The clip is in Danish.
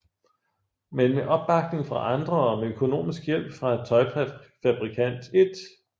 Men med opbakning fra andre og med økonomisk hjælp fra tøjfabrikant I